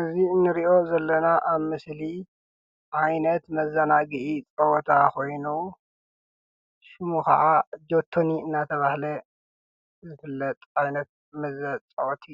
እዚ እንሪኦ ዘለና ኣብ ምስሊ ዓይነት መዘናግዒ ጨወታ ኮይኑ ስሙ ከዓ ጆተኒ እንዳተባሃለ ዝፍለጥ ዓይነት መፃወቲ